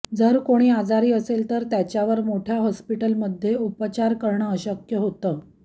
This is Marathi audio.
जर कोणी आजारी असेल तर त्याच्यावर मोठ्या हॉस्पिटलमध्ये उपचार करणं अशक्य होतं